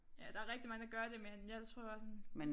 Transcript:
Ja der rigtig mange der gør det men jeg tror bare sådan